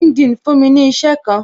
LinkedIn fún mi ní isẹ kan